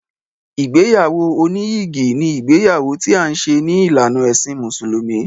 Ìgbéyàwó oníyìgì ni ìgbéyàwó ti à ń ṣe ní ìlànà ẹ̀sìn mùsùlùmí.